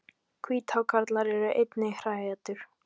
Hvíthákarlar eru einnig hræætur.